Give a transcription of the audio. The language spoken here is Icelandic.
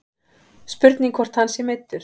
Spurning hvort að hann sé meiddur.